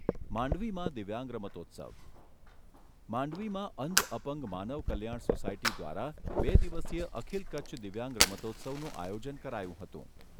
માંડવીમાં દિવ્યાંગ રમોત્સવ માંડવીમાં અંધ અપંગ માનવ કલ્યાણ સોસાયટી દ્વારા બે દિવસીય અખિલ કચ્છ દિવ્યાંગ રમતોત્સવનું આયોજન કરાયું હતું.